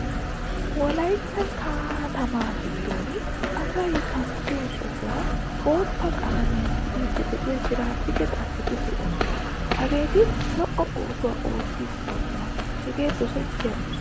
Wolaytta katama giddon asay kanttiyo sohuwaa bootta qalamiyaa tiyidi de'iyaa tiraffikke xacetii deosona. Hagetti lo'o oosuwaa oottidi deosona. Hagee dosetiya ooso.